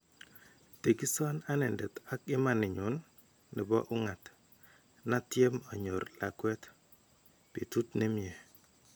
Tekisan anendet ak imaninyun nebo ung'aat natyeem anyoor laakwet .Betut nemyee.